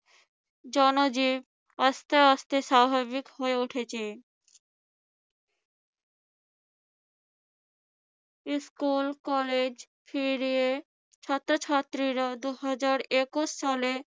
জনজীবন আস্তে আস্তে স্বাভাবিক হয়ে উঠেছে। স্কুল-কলেজ ফিরে ছাত্রছাত্রীরা দুহাজার একুশ সালে